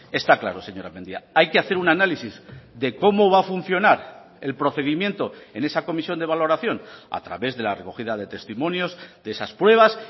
está claro señora mendia hay que hacer un análisis de cómo va a funcionar el procedimiento en esa comisión de valoración a través de la recogida de testimonios de esas pruebas